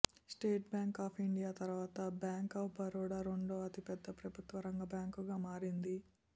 state Bank of India తర్వాత Bank of Baroda రెండో అతిపెద్ద ప్రభుత్వ రంగ బ్యాంకుగా మారింది